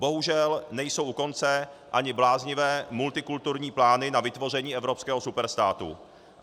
Bohužel nejsou u konce ani bláznivé multikulturní plány na vytvoření evropského superstátu.